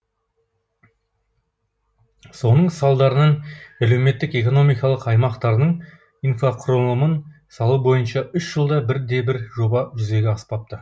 соның салдарынан әлеуметтік экономикалық аймақтардың инфрақұрылымын салу бойынша үш жылда бірде бір жоба жүзеге аспапты